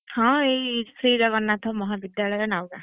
ହଁ ଏଇ ଶ୍ରୀ ଜଗନ୍ନାଥ ମହାବିଦ୍ୟାଳୟ, ନାଉଗାଁ।